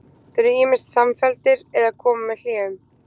Þeir eru ýmist samfelldir eða koma með hléum.